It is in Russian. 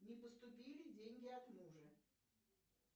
не поступили деньги от мужа